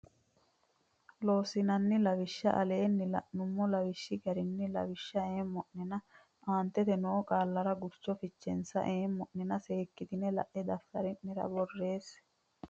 Loossinanni Lawishsha Aleenni la numo lawishshi garinni lawishsha eemmo nena aantete noo qaallara gurcho fichensa eema nenna seekkitine la e daftari ne aana borreesse.